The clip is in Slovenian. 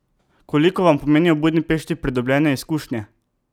Koliko vam pomenijo v Budimpešti pridobljene izkušnje?